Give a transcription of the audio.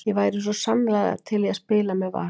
Ég væri svo sannarlega til í að spila með Val.